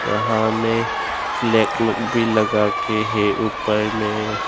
यहां में फ्लैग लोग भी लगते हैं ऊपर में।